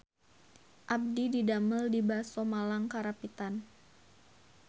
Abdi didamel di Baso Malang Karapitan